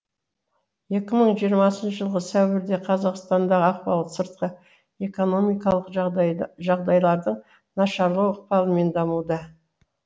екі мың жиырмасыншы жылғы сәуірде қазақстандағы ахуал сыртқы экономикалық жағдайлардың нашарлау ықпалымен дамуда